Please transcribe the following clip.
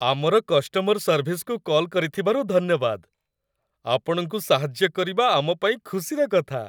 ଆମର କଷ୍ଟମର ସର୍ଭିସକୁ କଲ୍ କରିଥିବାରୁ ଧନ୍ୟବାଦ । ଆପଣଙ୍କୁ ସାହାଯ୍ୟ କରିବା ଆମ ପାଇଁ ଖୁସିର କଥା ।